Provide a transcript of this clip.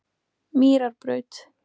Mýrarbraut